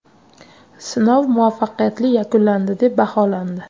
Sinov muvaffaqiyatli yakunlandi deb baholandi.